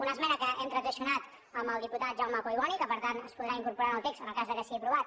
una esmena que hem transaccionat amb el diputat jau·me collboni que per tant es podrà incorporar en el text en el cas que sigui aprovat